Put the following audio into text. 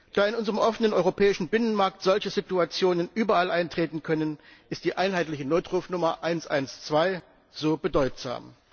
Da in unserem offenen europäischen Binnenmarkt solche Situationen überall eintreten können, ist die einheitliche Notrufnummer 112 so bedeutsam.